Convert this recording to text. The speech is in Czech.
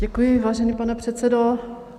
Děkuji, vážený pane předsedo.